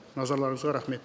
назарларыңызға рахмет